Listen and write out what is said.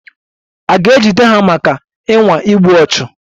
A ga-ejide ha maka ịnwa igbu ọchụ?